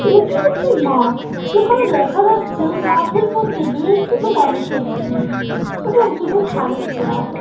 এটি একটি মাঠ যেখানে দেখা যাচ্ছে মাঠের মধ্যে বেশ কিছু মানুষের ভিড় এবং কিছু খালি চেয়ার |